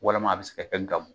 Walima a bɛ se ka